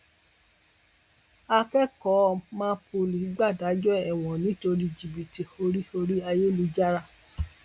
akẹkọọ mapoly gbàdájọ ẹwọn nítorí jìbìtì orí orí ayélujára